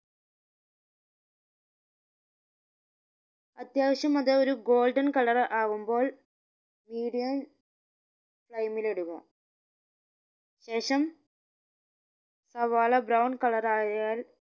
അത്യാവശ്യം അത് ഒരു golden colour ആവുമ്പോൾ medium flame ഇൽ ഇടുക ശേഷം സവാള brown colour ആയാൽ